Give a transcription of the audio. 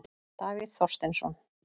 Davíð Þorsteinsson.